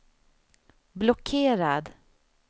blockerad